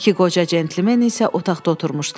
İki qoca centlmen isə otaqda oturmuşdular.